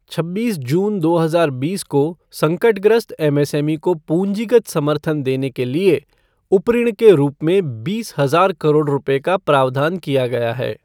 छब्बीस जून दो हजार बीस को संकटग्रस्त एमएसएमई को पूंजीगत समर्थन देने के लिए उपऋण के रूप में बीस हजार करोड़ रूपए का प्रावधान किया गया है।